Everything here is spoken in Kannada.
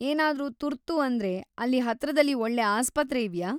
ಏನಾದ್ರೂ ತುರ್ತು ಅಂದ್ರೆ, ಅಲ್ಲಿ ಹತ್ರದಲ್ಲಿ ಒಳ್ಳೆ ಆಸ್ಪತ್ರೆ ಇವ್ಯಾ?